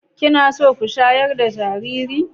Kina so ku shayar da jariri?